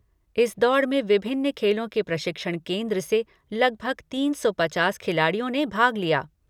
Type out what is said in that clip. इस दौड़ में विभिन्न खेलों के प्रशिक्षण केन्द्र से लगभग तीन सौ पचास खिलाड़ियों ने भाग लिया।